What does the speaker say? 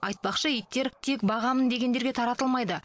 айтпақшы иттер тек бағамын дегендерге таратылмайды